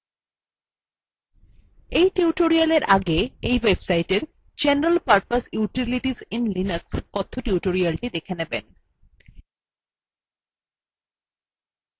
এই tutorialএর আগে এই websiteএর general purpose utilities in linux কথ্য tutorial দেখে নেবেন